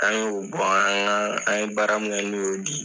An y'o bɔ an an ye baara min kɛ n'o y'o bi.